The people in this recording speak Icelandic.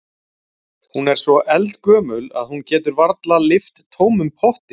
Hún er svo eldgömul að hún getur varla lyft tómum potti.